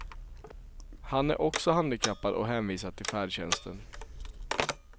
Han är också handikappad och hänvisad till färdtjänsten.